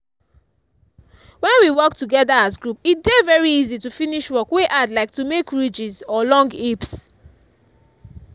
when we work together as group e dey very easy to finish work wey hard like to make ridges or long heaps.